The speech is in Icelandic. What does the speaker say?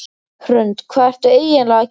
Hrund: Hvað ertu eiginlega að gera?